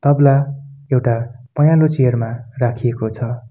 तबला एउटा पहेंलो चेयर मा राखिएको छ।